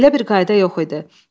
Belə bir qayda yox idi.